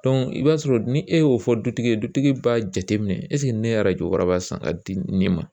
i b'a sɔrɔ ni e y'o fɔ dutigi ye dutigi b'a jateminɛ ne ye arajo waraba san ka di n den ma